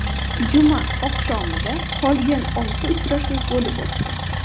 Juma oqshomida qolgan olti uchrashuv bo‘lib o‘tdi.